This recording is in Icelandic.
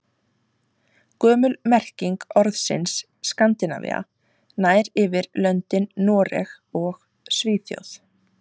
Gömul merking orðsins Skandinavía nær yfir löndin Noreg og Svíþjóð.